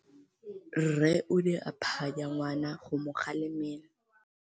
Rre o ne a phanya ngwana go mo galemela.